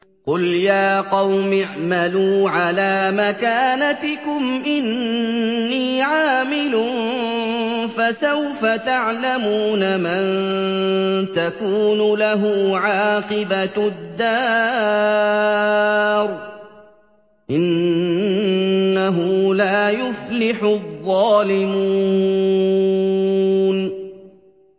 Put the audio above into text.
قُلْ يَا قَوْمِ اعْمَلُوا عَلَىٰ مَكَانَتِكُمْ إِنِّي عَامِلٌ ۖ فَسَوْفَ تَعْلَمُونَ مَن تَكُونُ لَهُ عَاقِبَةُ الدَّارِ ۗ إِنَّهُ لَا يُفْلِحُ الظَّالِمُونَ